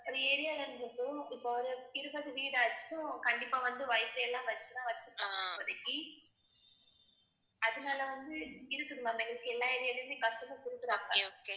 ஒரு area ல இருந்து இப்ப ஒரு இருபது வீடாச்சும் கண்டிப்பா வந்து wifi எல்லாம் வச்சுதான் வச்சிருப்பாங்க இப்போதைக்கு அதனால வந்து இருக்குது ma'am எங்களுக்கு எல்லா area லையுமே customer கொடுக்குறாங்க